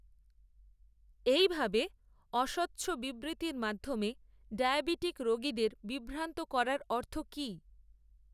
এই ভাবে, অস্বচ্ছ বিবৃ্তির মাধ্যমে, ডায়াবিটিক রোগীদের, বিভ্রান্ত করার, অর্থ কি